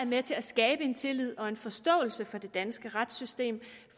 med til at skabe en tillid til og en forståelse for det danske retssystem